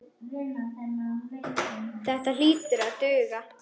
Þetta hlýtur að duga.